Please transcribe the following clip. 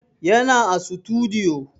Yana a sutudiyo